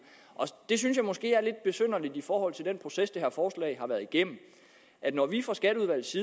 og det synes jeg måske er lidt besynderligt i forhold til den proces det her forslag har været igennem når vi fra skatteudvalgets